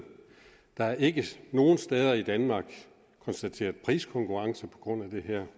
der er ikke nogen steder i danmark konstateret priskonkurrence på grund af det her